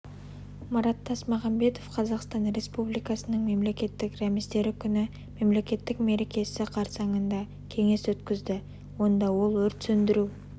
марат тасмағанбетов қазақстан республикасының мемлекеттік рәміздері күні мемлекеттік мерекесі қарсаңында кеңес өткізді онда ол өрт сөндіру